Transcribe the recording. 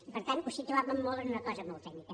i per tant ho situàvem molt en una cosa molt tècnica